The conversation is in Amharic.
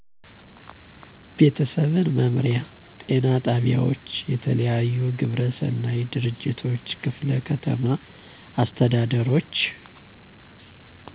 ቤተሰብ መምሪያ፣ ጤና ጣቢያዎች፣ የተለያቱ ግብረ ሰናይ ድርጅቶች፣ ክፍለ ከተማ አስተዳደሮች